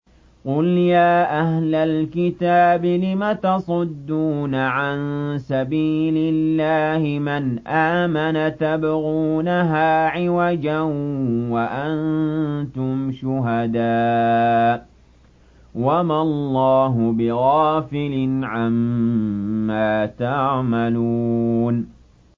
قُلْ يَا أَهْلَ الْكِتَابِ لِمَ تَصُدُّونَ عَن سَبِيلِ اللَّهِ مَنْ آمَنَ تَبْغُونَهَا عِوَجًا وَأَنتُمْ شُهَدَاءُ ۗ وَمَا اللَّهُ بِغَافِلٍ عَمَّا تَعْمَلُونَ